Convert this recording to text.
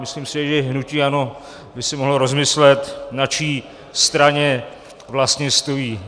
Myslím si, že hnutí ANO by si mohlo rozmyslet, na čí straně vlastně stojí.